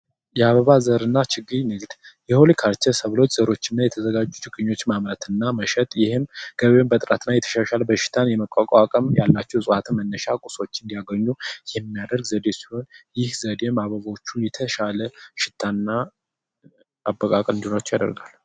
የአበባ ዘርና ችግኝ ንግግር ዘሮችና የተዘጋጁኞች ማህበራትና መሸጥ ይህም በጥራት ላይ የተሻሻለው በሽታን የመቋቋም ያላቸው መነሻው ቁሶ እንዲያገኙ የሚያደርግ ይህ ዘዴዎችን የተሻለ ሽታና አጠቃቀም ያደርጋል።